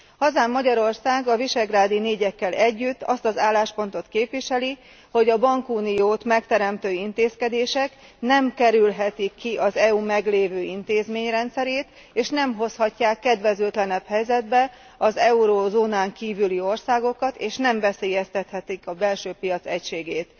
Hazánk, Magyarország a visegrádi négyekkel együtt azt az álláspontot képviseli, hogy a bankuniót megteremtő intézkedések nem kerülhetik ki az EU meglévő intézményrendszerét, és nem hozhatják kedvezőtlenebb helyzetbe az eurózónán kívüli országokat, és nem veszélyeztethetik a belső piac egységét.